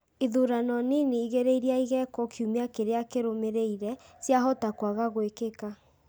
Ithurano nini igĩrĩ iria igekwo kiumia kĩrĩa kĩrũmĩrĩire ciahota kwaga gwĩkika ,